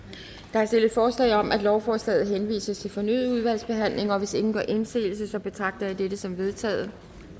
der er stillet forslag om at lovforslaget henvises til fornyet udvalgsbehandling og hvis ingen gør indsigelse betragter jeg dette som vedtaget